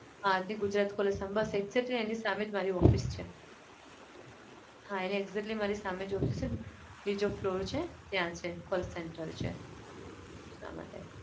હા ગુજરાત college સામે બસ exactly એની સામે જ મારી office છે. હા exactly મારી સામે જ office છે ને. બીજો floor છે ત્યાં છે call centre છે. એટલા માટે